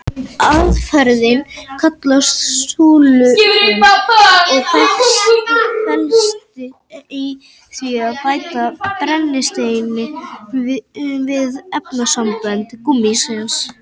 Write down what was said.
Aðferðin kallast súlfun og felst í því að bæta brennisteini við efnasambönd gúmmísins.